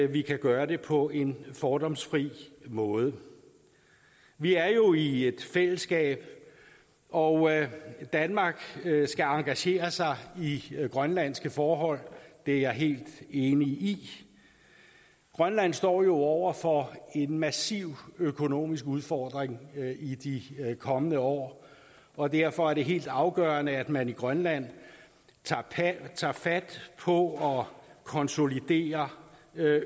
vi kan gøre det på en fordomsfri måde vi er jo i et fællesskab og danmark skal engagere sig i grønlandske forhold det er jeg helt enig i grønland står jo over for en massiv økonomisk udfordring i de kommende år og derfor er det helt afgørende at man i grønland tager fat på at konsolidere